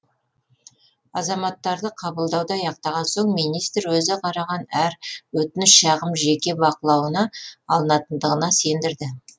азаматтарды қабылдауды аяқтаған соң министр өзі қараған әр өтініш шағым жеке бақылауына алынатындығына сендірді